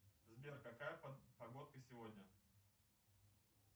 сбер какая погодка сегодня